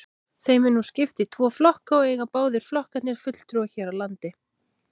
Þeim er nú skipt í tvo flokka og eiga báðir flokkarnir fulltrúa hér á landi.